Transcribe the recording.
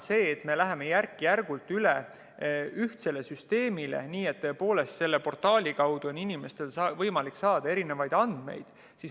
Me läheme järk-järgult üle ühtsele süsteemile, nii et tõepoolest on selle portaali kaudu inimestel võimalik saada erinevaid andmeid.